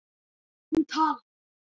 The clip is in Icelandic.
Hún talar.